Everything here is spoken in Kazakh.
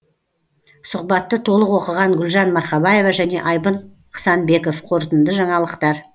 сұхбатты толық оқыған гүлжан марқабаева және айбын қысанбеков қорытынды жаңалықтар